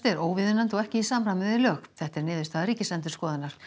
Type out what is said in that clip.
er óviðunandi og ekki í samræmi við lög þetta er niðurstaða Ríkisendurskoðunar